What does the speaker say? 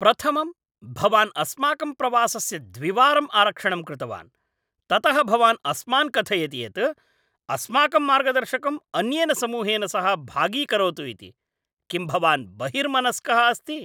प्रथमं, भवान् अस्माकं प्रवासस्य द्विवारं आरक्षणं कृतवान्, ततः भवान् अस्मान् कथयति यत् अस्माकं मार्गदर्शकं अन्येन समूहेन सह भागीकरोतु इति। किं भवान् बहिर्मनस्क अस्ति?